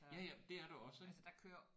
Ja ja det er der også ik